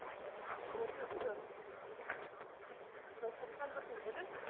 resistor resistor ൻ്റെ symbol അഹ്